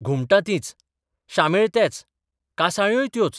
घुमटां तींच, शामेळ तेच, कांसाळ्योय त्योच.